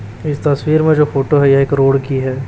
इस तस्वीर में जो फोटो है एक रोड़ की है।